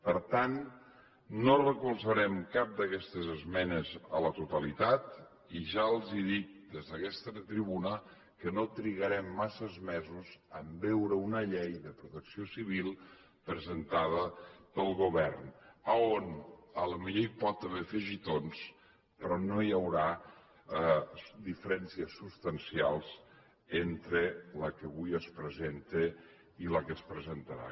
per tant no recolzarem cap d’aquestes esmenes a la totalitat i ja els dic des d’aquesta tribuna que no trigarem massa mesos a veure una llei de protecció civil presentada pel govern on potser hi pot haver afegitons però no hi haurà diferències substancials entre la que avui es presenta i la que es presentarà